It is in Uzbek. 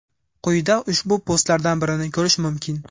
Quyida ushbu postlardan birini korish mumkin.